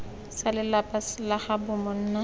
sa lelapa la gaabo monna